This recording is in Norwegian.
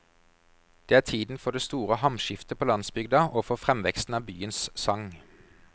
Det er tiden for det store hamskiftet på landsbygda og for fremveksten av byens sang.